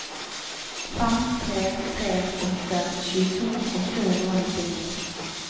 fem tre tre åtte tjueto åtte hundre og nittini